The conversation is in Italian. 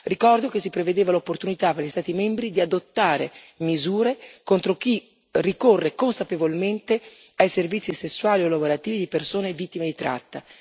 Ricordo che si prevedeva l'opportunità per gli Stati membri di adottare misure contro chi ricorre consapevolmente ai servizi sessuali o lavorativi di persone vittime di tratta.